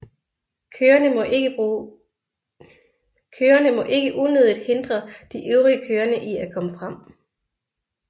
Kørende må ikke unødigt hindre de øvrige kørende i at komme frem